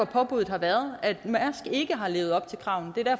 påbuddet har været om at mærsk ikke har levet op til kravene